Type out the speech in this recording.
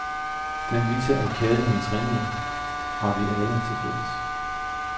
Den viser, at kærlighedens renhed har vi alle til fælles.